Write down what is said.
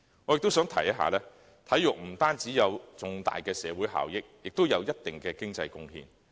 我亦想指出，體育不單有重大社會效益，也有一定的經濟貢獻。